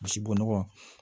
Misi bo nɔgɔ